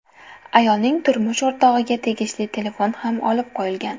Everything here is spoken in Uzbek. Ayolning turmush o‘rtog‘iga tegishli telefon ham olib qo‘yilgan.